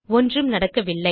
ஒன்றும் நடக்கவில்லை